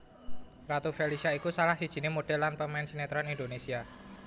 Ratu Felisha iku salah sijiné modhèl lan pemain sinetron Indonésia